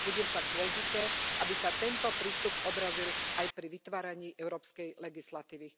Bude však dôležité, aby sa tento prístup odrazil aj pri vytváraní európskej legislatívy.